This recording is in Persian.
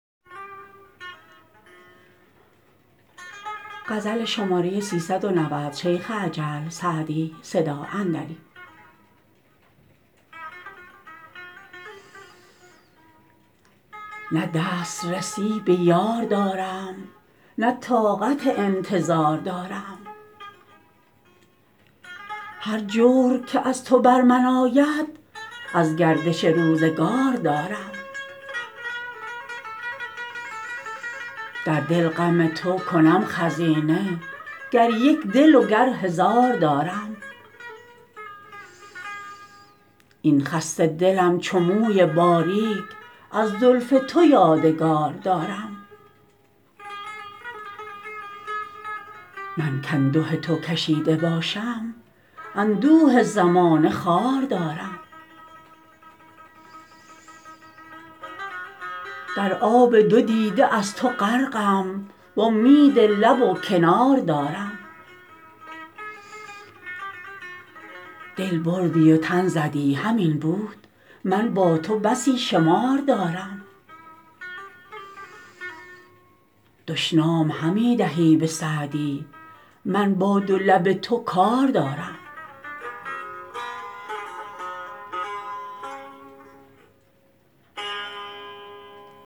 نه دست رسی به یار دارم نه طاقت انتظار دارم هر جور که از تو بر من آید از گردش روزگار دارم در دل غم تو کنم خزینه گر یک دل و گر هزار دارم این خسته دلم چو موی باریک از زلف تو یادگار دارم من کانده تو کشیده باشم اندوه زمانه خوار دارم در آب دو دیده از تو غرقم وامید لب و کنار دارم دل بردی و تن زدی همین بود من با تو بسی شمار دارم دشنام همی دهی به سعدی من با دو لب تو کار دارم